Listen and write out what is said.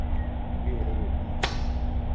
Moker komie